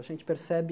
A gente percebe